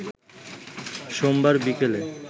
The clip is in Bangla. সোমবার বিকেলে